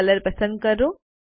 તો કલર પસંદ કરો